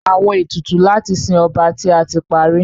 Awọn etutu lati sin ọba ti a ti pari